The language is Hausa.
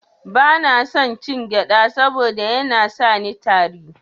Bana son cin gyada saboda Yana sani yin tari.